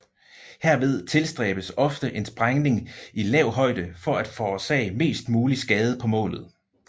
Herved tilstræbes ofte en sprængning i lav højde for at forårsage mest mulig skade på målet